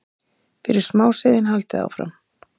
fyrir smáseiðin, haldið áfram.